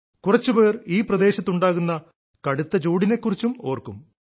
കുറച്ചുപേർ ഈ പ്രദേശത്തുണ്ടാകുന്ന കടുത്ത ചൂടിനെ കുറിച്ചും ഓർക്കും